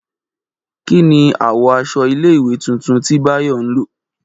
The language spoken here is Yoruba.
Kí ni àwọ̀ aṣọ ilé ìwé tuntun tí Báyọ̀ ń lọ?